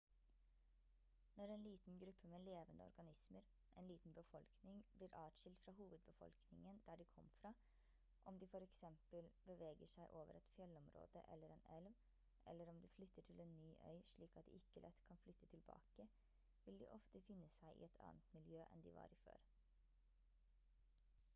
når en liten gruppe med levende organismer en liten befolkning blir adskilt fra hovedbefolkningen der de kom fra om de for eksempel beveger seg over et fjellområde eller en elv eller om de flytter til en ny øy slik at de ikke lett kan flytte tilbake vil de ofte finne seg i et annet miljø enn de var i før